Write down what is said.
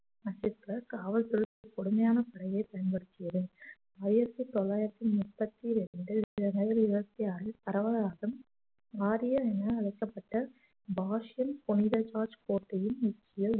காவல்துறை கொடுமையான முறையை பயன்படுத்தியது ஆயிரத்தி தொள்ளாயிரத்தி முப்பத்தி ரெண்டு ஜனவரி இருபத்தி ஆறில் பரவலாக ஆரியர் என அழைக்கப்பட்ட வாஷிங் புனிதராஜ் கோட்டையின் உச்சியில்